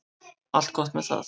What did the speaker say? Allt gott með það.